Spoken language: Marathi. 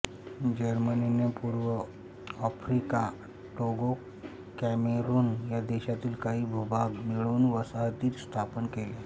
जर्मनीने पूर्व आफ्रिका टोगो कॅमेरुन या देशांतील काही भूभाग मिळवून वसाहती स्थापन केल्या